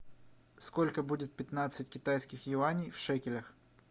сколько будет пятнадцать китайских юаней в шекелях